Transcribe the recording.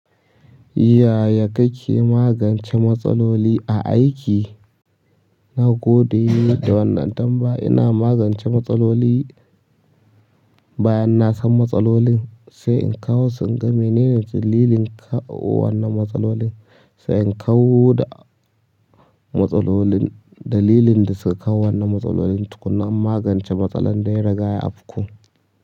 Yaya kake magance matsaloli a aiki? Na godiye da wannan tambaya. Ina magance matsaloli bayan na san matsalolin, sai in kawo su in ga menene dalilin kawo wannan matsalolin? Sai in kau da matsalolin dalilin da suka kawo wannan matsalolin, tukuna in magance matsalar dai riga ya afku.